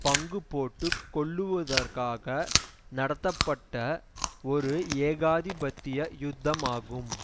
பங்கு போட்டு கொள்ளுவதற்காக நடத்தப்பட்ட ஒரு ஏகாதிபத்திய யுத்தமாகும்